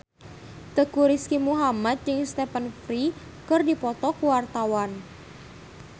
Teuku Rizky Muhammad jeung Stephen Fry keur dipoto ku wartawan